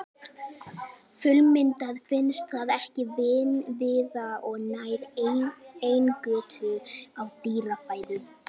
Fullmyndað finnst það ekki víða og nær eingöngu í dýrafæðu.